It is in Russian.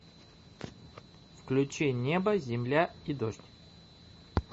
включи небо земля и дождь